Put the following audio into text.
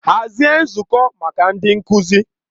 Hazie nzukọ maka ndị nkuzi!